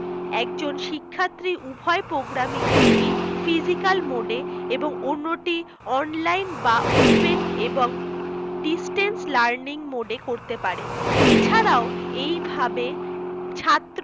একজন শিক্ষার্থী উভয় program ই একটি physical mode এ এবং অন্য টি online বা open এবং distance learning mode এ করতে পারে এছাড়াও এইভাবে ছাত্র